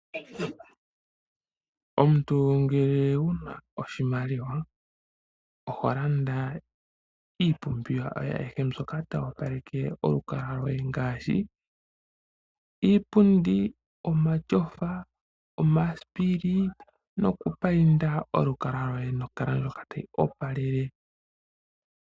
Omuntu ngele wuna oshimaliwa oho landa iipumbiwa yoye ayihe mbyoka tayi opaleke olukalwa loye, ngaashi iipundi, omashofa, omasipili noku payinda olukalwa loye nolwaala ndjoka tayi opalele.